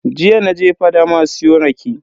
Jiya naje fadama siyo rake.